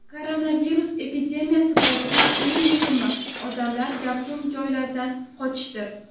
Koronavirus epidemiyasi paytida, eng muhimi, odamlar gavjum joylardan qochishdir.